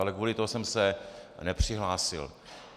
Ale kvůli tomu jsem se nepřihlásil.